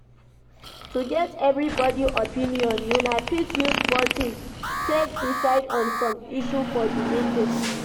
To get evrybody opinion una fit use voting take diecide on some issue for di meeting